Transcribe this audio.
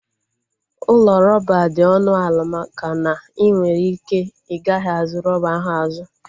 Ụlọ rọba dị ọnụ ala maka na inwere ike igaghi azu rọba ahụ azu